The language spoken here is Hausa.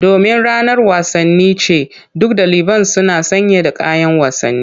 Domin ranar wasanni ce, duk daliban suna sanye da kayan wasanni.